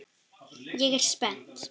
Ég er spennt.